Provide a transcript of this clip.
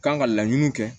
Kan ka laɲini kɛ